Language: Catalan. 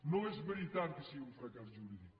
no és veritat que sigui un fracàs jurídic